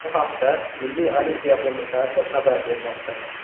Bu haqda Milliy olimpiya qo‘mitasi xabar bermoqda .